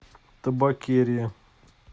табакерия